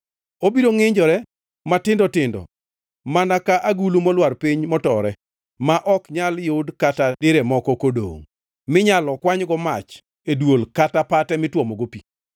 Obiro ngʼinjore matindo tindo mana ka agulu molwar piny motore, ma ok nyal yud kata dire moro kodongʼ minyalo kwanygo mach e dwol kata pate mitwomogo pi.”